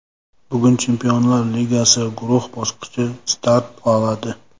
Bugun Chempionlar Ligasi guruh bosqichi start oladi.